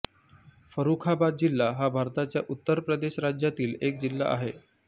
फरुखाबाद जिल्हा हा भारताच्या उत्तर प्रदेश राज्यातील एक जिल्हा आहे